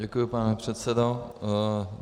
Děkuji, pane předsedo.